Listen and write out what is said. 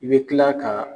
I bɛ kila ka